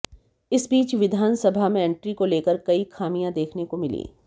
इस बीच विधानसभा में एंट्री को लेकर कई खामियां देखने को मिली